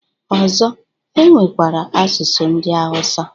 Ọzọ, e nwekwara asụsụ ndị awụsa